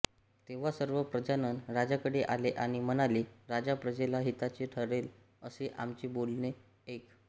तेव्हा सर्व प्रजाजन राजाकडे आले आणि म्हणाले राजा प्रजेला हिताचे ठरेल असे आमचे बोलणे ऐक